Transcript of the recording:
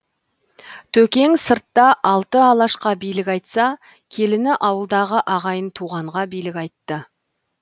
төкең сыртта алты алашқа билік айтса келіні ауылдағы ағайын туғанға билік айтты